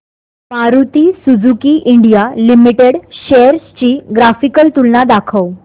Maruti Suzuki India limited shares ची graphical तुलना दाखव